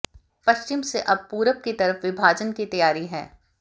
पश्चिम से अब पूरब की तरफ विभाजन की तैयारी है